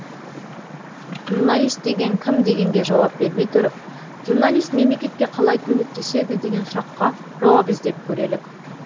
журналист деген кім дегенге жауап бермей тұрып журналист мемлекетке қалай көмектеседі деген сұраққа жауап іздеп көрелік